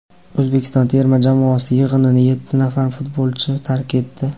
O‘zbekiston terma jamoasi yig‘inini yetti nafar futbolchi tark etdi.